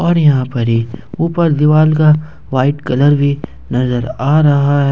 और यहाँ पर ही ऊपर दीवाल का वाइट कलर भी नजर आ रहा है।